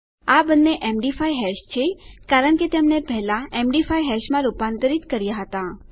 આ બંને MD5 hash છે કારણ કે તેમને પહેલા એમડી5 હેશમાં રૂપાંતરિત કર્યા હતા